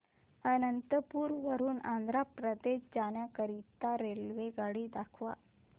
अनंतपुर वरून आंध्र प्रदेश जाण्या करीता मला रेल्वेगाडी दाखवा